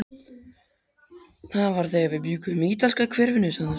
Það var þegar við bjuggum í ítalska hverfinu svaraði ég.